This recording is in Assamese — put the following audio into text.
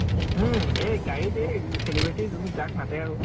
হম । এই গাড়ীতে celebrity জোন যাক মাতে আৰু ।